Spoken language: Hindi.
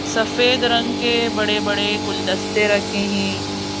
सफेद रंग के बड़े बड़े गुलदस्ते रखे हैं।